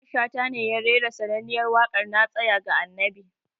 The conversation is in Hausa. Mamman Shata ne ya rera sananniyar waƙar "na tsaya ga annabi"